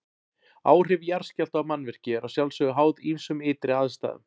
Áhrif jarðskjálfta á mannvirki eru að sjálfsögðu háð ýmsum ytri aðstæðum.